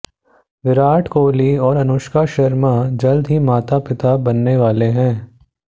विराट कोहली और अनुष्का शर्मा जल्द ही माता पिता बनने वाले हैं